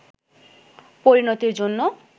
পরিণতির জন্য